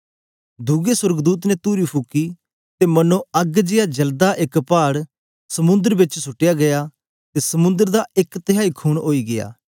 दुए सोर्गदूत ने तुरी फुकी ते मनो अग्ग जेया जलदा एक पाड़ समुंद्र बिच सुट्या गीया ते समुंद्र दा एक तिहाई खून ओई गीया